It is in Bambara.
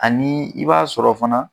Ani i b'a sɔrɔ fana